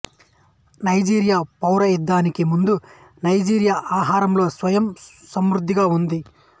Nigeria పౌర యుద్ధానికి ముందు నైజీరియా ఆహారంలో స్వయం సమృద్ధిగా ఉంది